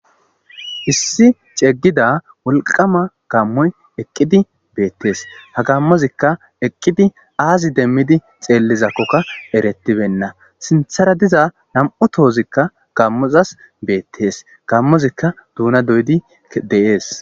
Issi cegida wolqama gaamoy eqid beetes, ha gaamozika eqid aazi demid xelizakoka eretibena, sinthara diza nam'u tozika gaamozas beetes, gaamozika duuna doyid de'es.